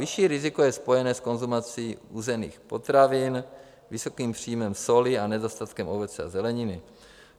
Vyšší riziko je spojené s konzumací uzených potravin, vysokým příjmem soli a nedostatkem ovoce a zeleniny.